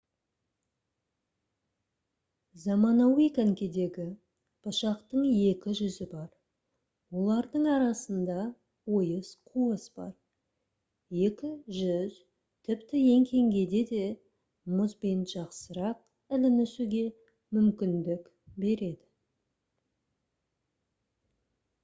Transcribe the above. заманауи конькидегі пышақтың екі жүзі бар олардың арасында ойыс қуыс бар екі жүз тіпті еңкейгенде де мұзбен жақсырақ ілінісуге мүмкіндік береді